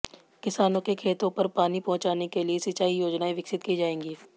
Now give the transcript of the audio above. किसानों के खेतों पर पानी पहुंचाने के लिए सिंचाई योजनाएं विकसित की जाएंगी